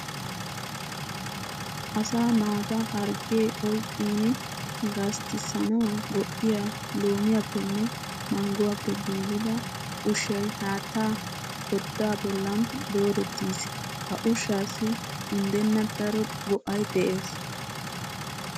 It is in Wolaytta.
Asaa naata harggee oyqqin gasttissanawu go''iya loomiyappenne mangguwappe giigida ushshay haattaa koddaa bollan doorettiis. Ha ushshassi undenna daro go'ay de'ees.